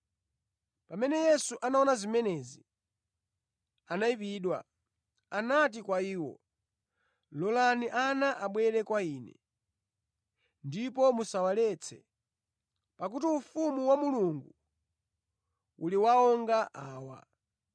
Pamene Yesu anaona zimenezi anayipidwa. Anati kwa iwo, “Lolani ana abwere kwa Ine, ndipo musawaletse, pakuti Ufumu wa Mulungu uli wa onga awa.